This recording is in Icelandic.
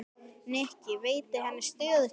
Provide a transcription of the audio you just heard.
Nikki, veitti henni stöðugt meiri athygli.